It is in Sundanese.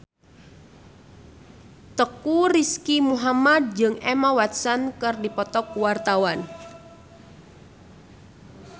Teuku Rizky Muhammad jeung Emma Watson keur dipoto ku wartawan